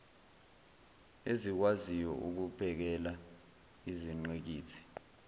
ezikwaziyo ukubhekela izingqikithi